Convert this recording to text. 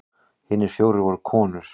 Hinir fjórir voru konur.